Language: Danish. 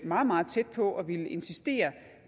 meget meget tæt på at ville insistere